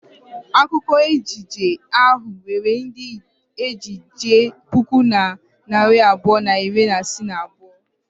Akwụkwọ ejije ahụ nwere ndị ejije puku na narị abụọ na iri ise na abụọ.